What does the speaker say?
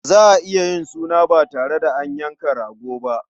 Za a iya yin suna ba tare da an yanka rago ba.